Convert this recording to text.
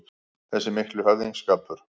Þessi mikli höfðingsskapur